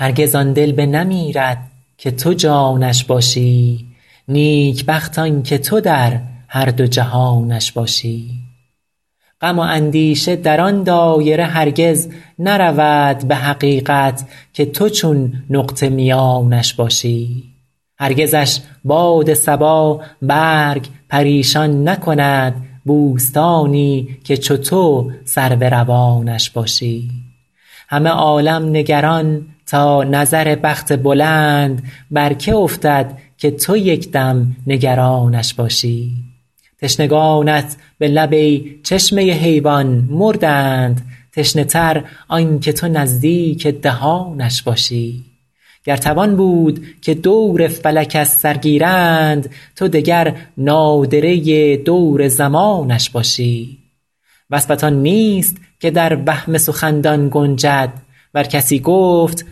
هرگز آن دل بنمیرد که تو جانش باشی نیکبخت آن که تو در هر دو جهانش باشی غم و اندیشه در آن دایره هرگز نرود به حقیقت که تو چون نقطه میانش باشی هرگزش باد صبا برگ پریشان نکند بوستانی که چو تو سرو روانش باشی همه عالم نگران تا نظر بخت بلند بر که افتد که تو یک دم نگرانش باشی تشنگانت به لب ای چشمه حیوان مردند تشنه تر آن که تو نزدیک دهانش باشی گر توان بود که دور فلک از سر گیرند تو دگر نادره دور زمانش باشی وصفت آن نیست که در وهم سخندان گنجد ور کسی گفت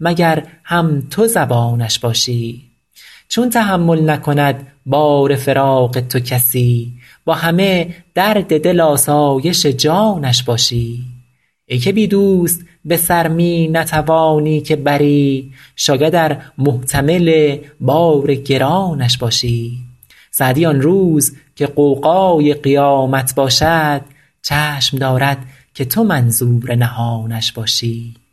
مگر هم تو زبانش باشی چون تحمل نکند بار فراق تو کسی با همه درد دل آسایش جانش باشی ای که بی دوست به سر می نتوانی که بری شاید ار محتمل بار گرانش باشی سعدی آن روز که غوغای قیامت باشد چشم دارد که تو منظور نهانش باشی